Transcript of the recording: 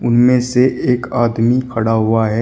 उनमें से एक आदमी खड़ा हुआ है।